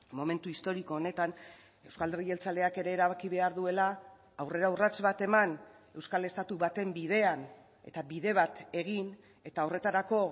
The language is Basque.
momentu historiko honetan euzko alderdi jeltzaleak ere erabaki behar duela aurrera urrats bat eman euskal estatu baten bidean eta bide bat egin eta horretarako